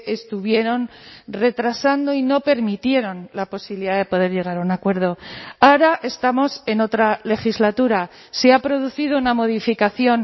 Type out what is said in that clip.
estuvieron retrasando y no permitieron la posibilidad de poder llegar a un acuerdo ahora estamos en otra legislatura se ha producido una modificación